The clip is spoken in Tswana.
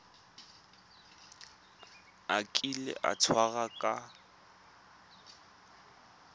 a kile a tshwarwa ka